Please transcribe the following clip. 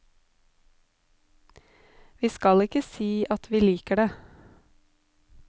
Vi skal ikke si at vi liker det.